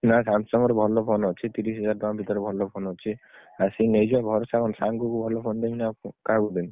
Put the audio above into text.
ନା Samsung ର ଭଲ phone ଅଛି। ତିରିଶିହଜାର ଟଙ୍କା ଭିତରେ ଭଲ phone ଅଛି। ଆସିକି ନେଇଯିବ ଭରସା କଣ ସାଙ୍ଗୁକୁ ଭଲ phone ଦେବିନି, ଆଉ କାହାକୁ ଦେବି।